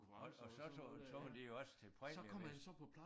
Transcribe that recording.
Og og så så så var det jo også til præmierne